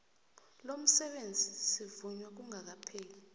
lomsebenzi sivunywa kungakapheli